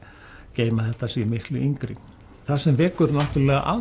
geyma þetta séu miklu yngri það sem vekur náttúrulega